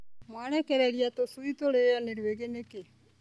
Mwarekereria tũcui tũrĩo nĩ rwĩgĩ nĩkĩ.